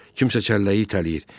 Kimsə çəlləyi itələyir.